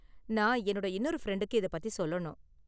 நான் என்னோட இன்னொரு ஃப்ரெண்டுக்கு இத பத்தி சொல்லணும்.